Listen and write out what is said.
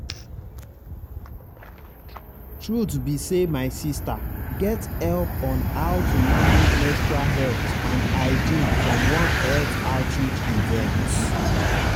truth be say my sister get help on how to manage menstrual health and hygiene from one health outreach event.